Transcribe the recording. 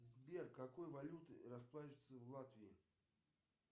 сбер какой валютой расплачиваются в латвии